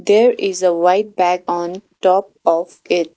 There is a white bag on top of it .